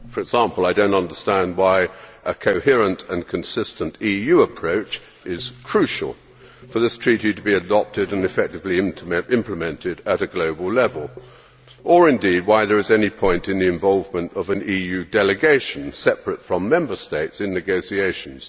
For example, I do not understand why a coherent and consistent EU approach is crucial for this Treaty to be adopted and effectively implemented at a global level, or indeed why there is any point in the involvement of an EU delegation separate from Member States in negotiations.